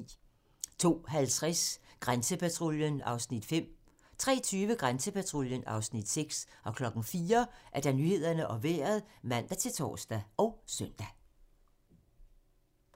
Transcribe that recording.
02:50: Grænsepatruljen (Afs. 5) 03:20: Grænsepatruljen (Afs. 6) 04:00: Nyhederne og Vejret (man-tor og søn)